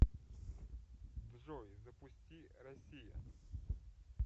джой запусти россия